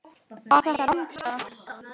Var þetta rangstaða?